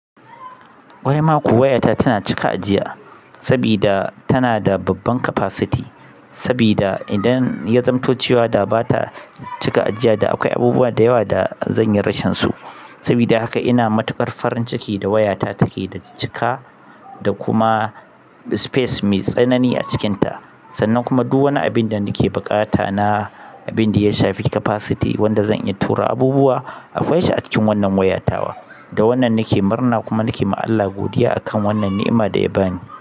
Wai ma kuwa waya ta tana cika ajiya saboda tana da babban capacity, saboda idan ya zamanto cewa da ba ta cika ajiya da akwai abubuwa da yawa da zan yi rashin su. Saboda haka ina matuƙar farin ciki da wayata take da cika da kuma space mai tsanani a cikinta sannan kuma duk wani abin da nake buƙata na abin da ya shafi capacity wanda zan iya tura abubuwa, akwai shi a cikin wannan wayatawa. Da wannan nake murna kuma nake ma Allah godiya akan wannan ni'ima da ya ba ni.